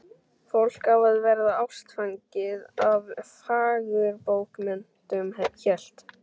Fólk á að verða ástfangið af fagurbókmenntum hélt